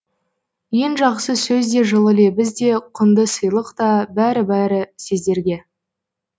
ең жақсы сөз де жылы лебіз де құнды сыйлық та бәрі бәрі сіздерге